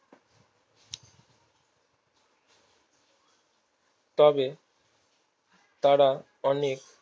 তবে তারা অনেক